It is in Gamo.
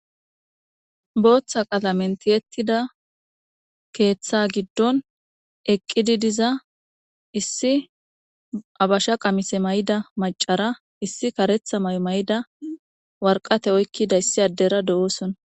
booththa qalamen tiyettida keeththa giddon eqqidi diza issi abasha qamise may7ida macara issi karetha may may7ida warqate oykkida issi addera de7oosona